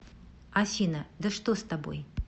афина да что с тобой